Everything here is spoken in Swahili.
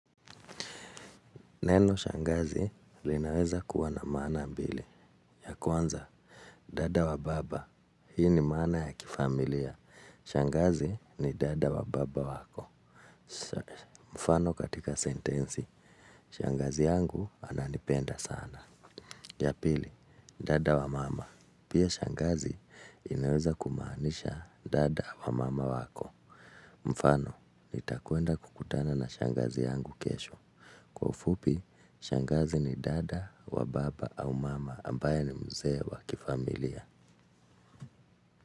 Neno shangazi linaweza kuwa na mana mbili. Ya kwanza, dada wa baba. Hii ni mana ya kifamilia. Shangazi ni dada wa baba wako. Mfano katika sentensi, shangazi yangu ananipenda sana. Ya pili, dada wa mama. Pia shangazi inaweza kumaanisha dada wa mama wako. Mfano, nitakuenda kukutana na shangazi yangu kesho. Kwa ufupi, shangazi ni dada wa baba au mama ambaye ni mzee wa kifamilia.